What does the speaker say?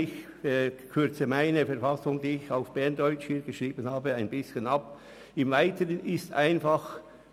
Ich kürze meine schriftliche berndeutsche Fassung etwas ab.